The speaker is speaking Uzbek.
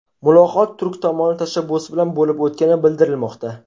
Muloqot turk tomoni tashabbusi bilan bo‘lib o‘tgani bildirilmoqda.